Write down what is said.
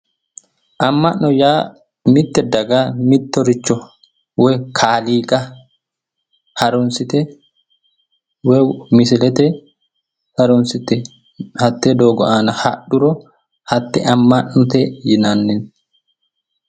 amma'no yaa mitte daga mittoricho woyi kaaliqa harunsate woyi misilete harunsite hatte doogo aana hadhuro hatte amma'note yinanni.